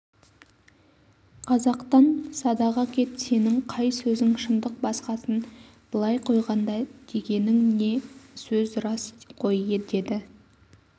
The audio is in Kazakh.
қазақтан садаға кет сенің қай сөзің шындық басқасын былай қойғанда дегенің не сөз рас қой деді